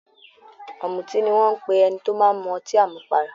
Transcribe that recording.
Ọ̀mùtí ni wọ́n ń pe ẹni tó máa ń mu ọtí àmupara.